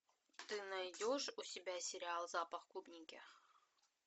ты найдешь у себя сериал запах клубники